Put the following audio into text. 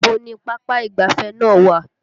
Ibo ni pápá ìgbáfẹ́ náà wà?